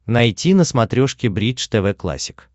найти на смотрешке бридж тв классик